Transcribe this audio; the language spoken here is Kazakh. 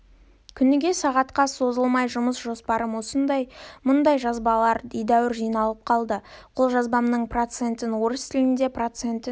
күніге сағатқа созылатын жұмыс жоспарым осындай мұндай жазбалар едәуір жиналып қалды қолжазбамның процентін орыс тілінде процентін